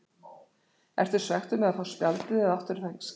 Ertu svekktur með að fá spjaldið eða áttirðu það skilið?